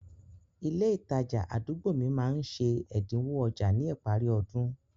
Ilé ìtajà àdúgbò mi máá ń ṣe ẹ̀dínwó ọjà ní ìparí ọdún